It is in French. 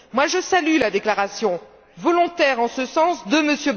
Moi, je salue la déclaration volontaire, en ce sens, de M.